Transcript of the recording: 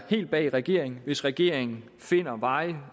helt bag regeringen hvis regeringen finder veje